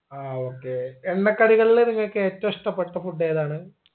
ആ okay എണ്ണക്കടികളിൽ നിങ്ങക്ക് ഏറ്റവും ഇഷ്ടപ്പെട്ട food ഏതാണ്